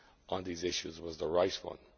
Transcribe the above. on these issues was the right